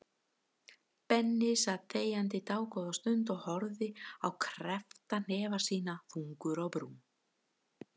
Benni sat þegjandi dágóða stund og horfði á kreppta hnefa sína, þungur á brún.